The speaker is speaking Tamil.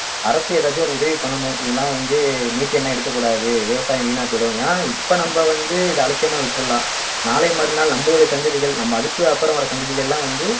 அரசு ஏதாச்சும் ஒரு உதவி பண்ணணும் இதெல்லாம் வந்து methane எல்லாம் எடுக்கக் கூடாது விவசாயம் வீணாப் போயிடும் ஏன் இப்ப நம்ம வந்து இதை அலட்சியமா விட்டிறலாம் நாளை மறுநாள் நம்மளுடைய சந்ததிகள் நம்ம அதுக்கு அப்பும் வர சந்ததிகள்லாம் வந்து